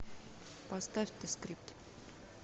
поставь зе скрипт